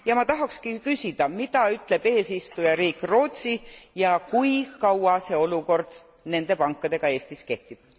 Ja ma tahakski küsida, mida ütleb eesistujariik Rootsi ja kui kaua see olukord nende pankadega Eestis kehtib.